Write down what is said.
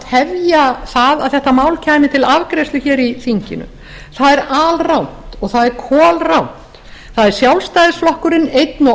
tefja það að þetta mál kæmi til afgreiðslu hér í þinginu það er alrangt og það er kolrangt það er sjálfstæðisflokkurinn einn og